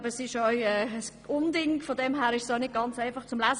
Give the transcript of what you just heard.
Das Dossier ist vielleicht auch nicht ganz einfach zu lesen.